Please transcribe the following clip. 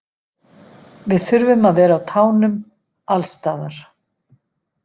Við þurfum að vera á tánum alls staðar.